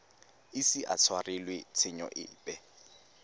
ise a tshwarelwe tshenyo epe